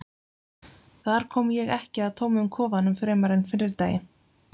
þar kom ég ekki að tómum kofanum fremur en fyrri daginn